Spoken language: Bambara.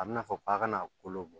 A bi n'a fɔ k'a kana kolo bɔ